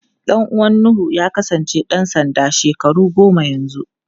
Ɗan uwan Nuhu ya kasance ɗan sanda shekaru goma yanzu.